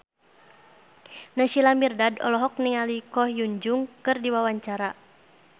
Naysila Mirdad olohok ningali Ko Hyun Jung keur diwawancara